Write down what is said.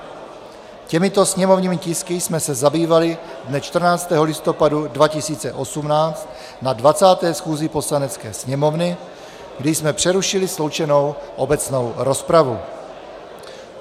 Těmito sněmovními tisky jsme se zabývali dne 14. listopadu 2018 na 20. schůzi Poslanecké sněmovny, kdy jsme přerušili sloučenou obecnou rozpravu.